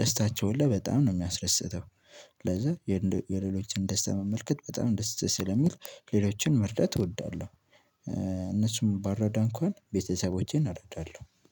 ደስታቸውን በጣም ነው የሚያስደስተው ስለዚህ የሌሎችን ደስታ መመልከት በጣም ደስ ስለሚል ሌሎችን መርዳት እወዳለሁ። እነሱን ባረዳ እንኳን ቤተሰቦቼን አረዳለሁ